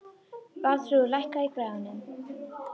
Valþrúður, lækkaðu í græjunum.